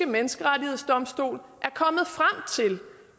menneskerettighedsdomstol